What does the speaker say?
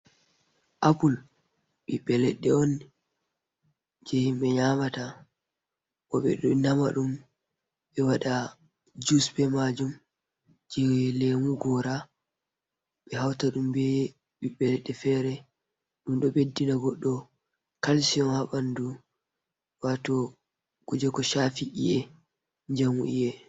Apple, biɓɓe leɗɗe on jei himɓe nyamata, bo ɓe ɗo nama ɗum be waɗa jus be maajum jei lemu goora ɓe hauta ɗum be biɓɓe leɗɗe fere. Ɗum ɗo ɓeddina goɗɗo kalshiyum ha ɓandu waato kuje ko shaafi i’e njamu i’e.